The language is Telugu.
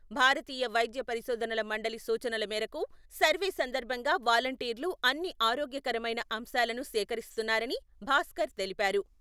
భారతీయ వైద్య పరిశోధనల మండలి సూచనల మేరకు సర్వే సందర్భంగా వాలంటీర్లు అన్ని ఆరోగ్యకరమైన అంశాలను సేకరిస్తున్నారని భాస్కర్ తెలిపారు.